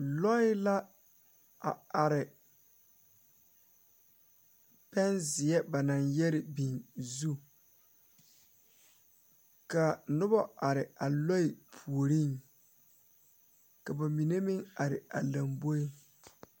Lɔɛ la a are pɛnzeɛ ba naŋ yɛre biŋ zu kaa nobɔ are a lɔɛ puoriŋ ka ba mine meŋ are a lomboeŋ.